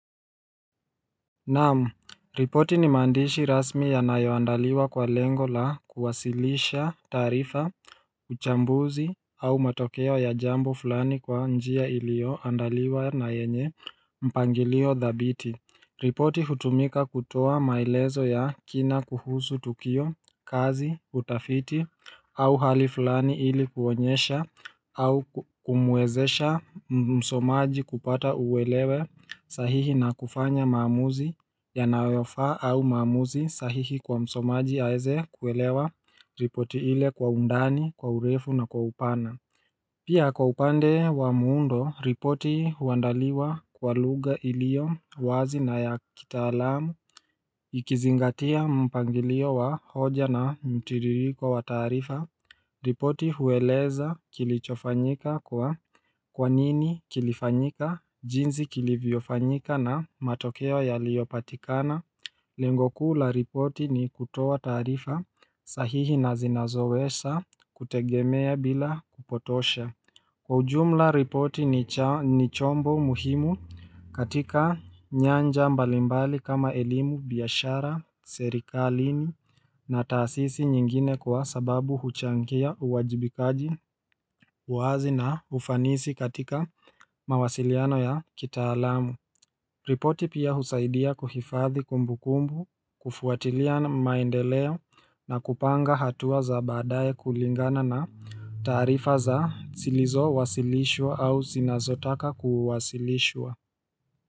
Namu, ripoti ni maandishi rasmi yanayoandaliwa kwa lengo la kuwasilisha taarifa uchambuzi au matokeo ya jambo fulani kwa njia ilio andaliwa na yenye mpangilio dhabiti ripoti hutumika kutoa maelezo ya kina kuhusu tukio kazi utafiti au hali fulani ili kuonyesha au kumuwezesha msomaji kupata uwelewe sahihi na kufanya mamuzi yanayoyafa au maamuzi sahihi kwa msomaji aeze kuelewa ripoti ile kwa undani kwa urefu na kwa upana Pia kwa upande wa muundo, ripoti huandaliwa kwa lugha ilio, wazi na ya kitaalamu Ikizingatia mpangilio wa hoja na mtiririko wa taarifa ripoti hueleza kilichofanyika kwa Kwa nini kilifanyika, jinsi kilivyofanyika na matokeo yaliyopatikana Lengo kuu la ripoti ni kutoa taarifa, sahihi na zinazowesa kutegemea bila kupotosha Kwa ujumla, ripoti ni chombo muhimu katika nyanja mbalimbali kama elimu biashara, serikalini na taasisi nyingine kwa sababu huchangia uwajibikaji, uwazi na ufanisi katika mawasiliano ya kitaalamu. Ripoti pia husaidia kuhifadhi kumbu kumbu, kufuatilia maendeleo na kupanga hatua za baadaye kulingana na taarifa za silizo wasilishwa au zinazotaka kuwasilishwa.